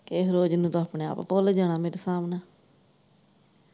ਕਿਹੇ ਰੋਜ਼ ਨੂੰ ਤੂੰ ਆਪਣੇ ਆਪ ਭੁੱਲ ਜਾਣਾ ਮੇਰੇ ਸਾਬ ਨਾਲ।